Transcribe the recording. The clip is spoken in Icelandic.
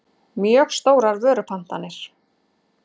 mjög stórar vörupantanir.